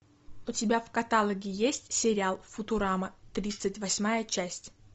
у тебя в каталоге есть сериал футурама тридцать восьмая часть